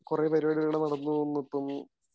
കുറെ പരിപാടികള് നടന്നു വന്നിട്ടും